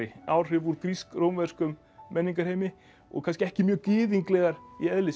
áhrif úr grísk rómverskum menningarheimi og kannski ekki mjög gyðinglegar í eðli sínu